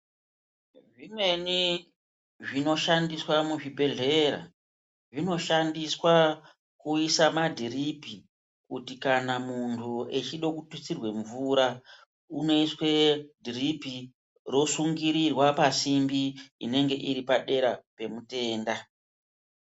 Zvioimweni zvinoshandiswa muzvibhedhlera zvinoshandiswa kuisa madhiripi kuti kana munhu echida kubvisirwa mvura unoiswe dhiripi rosungirirwa pasimbi inenge iri padera pemutenda.